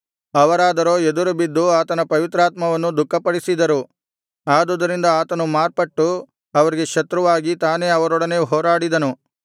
ಅವರಾದರೋ ಎದುರುಬಿದ್ದು ಆತನ ಪವಿತ್ರಾತ್ಮವನ್ನು ದುಃಖಪಡಿಸಿದರು ಆದುದರಿಂದ ಆತನು ಮಾರ್ಪಟ್ಟು ಅವರಿಗೆ ಶತ್ರುವಾಗಿ ತಾನೇ ಅವರೊಡನೆ ಹೋರಾಡಿದನು